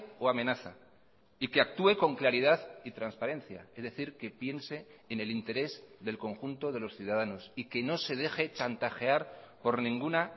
o amenaza y que actúe con claridad y transparencia es decir que piense en el interés del conjunto de los ciudadanos y que no se deje chantajear por ninguna